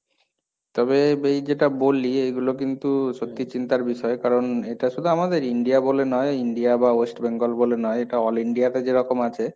তবে এই যেটা বললি, এগুলো কিন্তু সত্যি চিন্তার বিষয় কারণ এটা শুধু আমাদের India বলে নয়, India বা West Bengal বলে নয়, এটা all India তে যেরকম আছে,